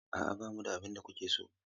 A'a, ba mu da abin da kuke so.